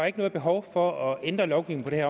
ikke noget behov for at ændre lovgivningen